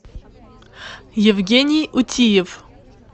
евгений утиев